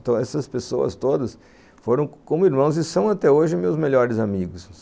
Então, essas pessoas todas foram como irmãos e são até hoje meus melhores amigos.